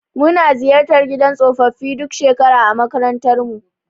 Muna ziyartar gidan tsofaffi duk shekara a makarantarmu.